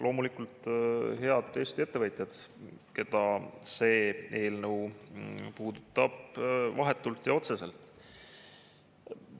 Loomulikult head Eesti ettevõtjad, keda see eelnõu puudutab vahetult ja otseselt!